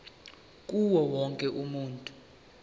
kuwo wonke umuntu